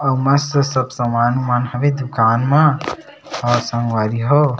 अऊ मस्त सब समान उमान मन हवे दुकान म अऊ संगवारी हो--